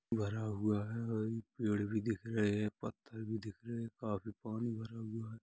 भरा हुआ है पेड़ भी दिख रहे हैं पत्थर भी दिख रहे हैं काफी पानी भरा हुआ है।